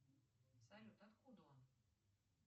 салют откуда он